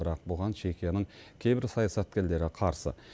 бірақ бұған чехияның кейбір саясаткерлері қарсы